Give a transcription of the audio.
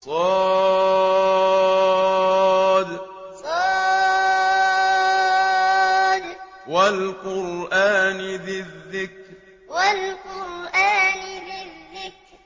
ص ۚ وَالْقُرْآنِ ذِي الذِّكْرِ ص ۚ وَالْقُرْآنِ ذِي الذِّكْرِ